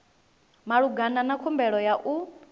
malugana na khumbelo ya u